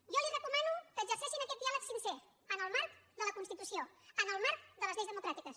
jo li recomano que exerceixin aquest diàleg sincer en el marc de la constitució en el marc de les lleis democràtiques